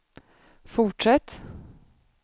fortsätt